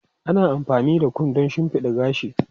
Ana amfani da kom don shimfiɗa gashi.